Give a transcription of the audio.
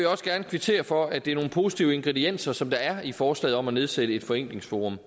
også gerne kvittere for at det er nogle positive ingredienser som der er i forslaget om at nedsætte et forenklingsforum